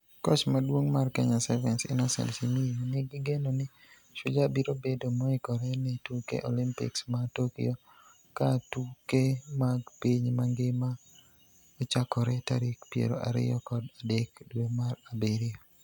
Koch maduong' mar Kenya Sevens Innocent Simiyu nigi geno ni Shujaa biro bedo moikore ne tuke Olimpiks ma Tokyo ka tuke mag piny mangima ochakore tarik piero ariyo kod adek dwe mar abirio.